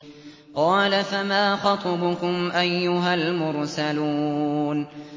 ۞ قَالَ فَمَا خَطْبُكُمْ أَيُّهَا الْمُرْسَلُونَ